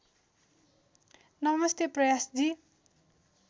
नमस्ते प्रयास जी